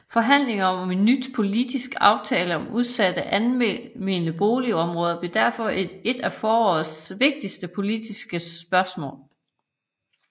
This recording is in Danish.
Forhandlinger om en ny politisk aftale om udsatte almene boligområder blev derfor et af forårets vigtige politiske spørgsmål